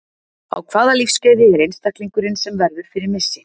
Á hvaða lífsskeiði er einstaklingurinn sem verður fyrir missi?